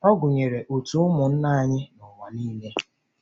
Ọ gụnyere òtù ụmụnna anyị n’ụwa nile.